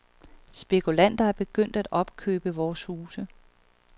Spekulanter er begyndt at opkøbe vores huse.